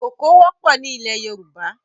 Koko wọpọ̀ ni ilẹ̀ Yoruba